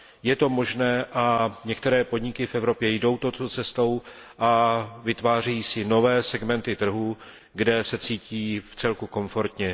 Je to možné a některé podniky v Evropě jdou touto cestou a vytvářejí si nové segmenty trhů, kde se cítí vcelku komfortně.